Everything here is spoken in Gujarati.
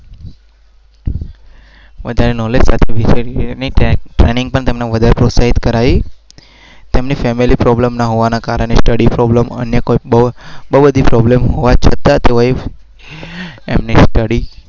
અ